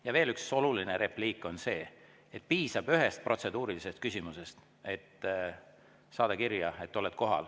Ja veel üks oluline repliik: piisab ühest protseduurilisest küsimusest, et saada kirja, et oled kohal.